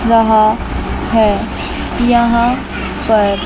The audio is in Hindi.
रहा है यहां पर--